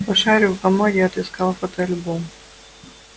пошарил в комоде отыскал фотоальбом